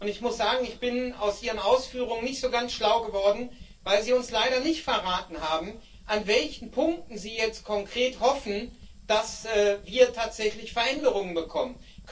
Ich muss sagen, ich bin aus Ihren Ausführungen nicht so ganz schlau geworden, weil Sie uns leider nicht verraten haben, an welchen Punkten Sie jetzt konkret hoffen, dass wir tatsächlich Veränderungen bekommen.